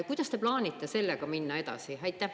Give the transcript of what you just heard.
Kuidas te plaanite sellega minna edasi?